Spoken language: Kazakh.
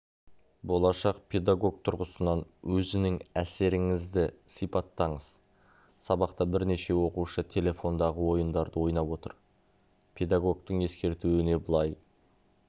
болашақ педагог тұрғысынан өзінің әсеріңізді сипаттаңыз сабақта бірнеше оқушы телефондағы ойындарды ойнап отыр педагогтың ескертуіне былай